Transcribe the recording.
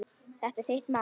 Þetta er þitt mál.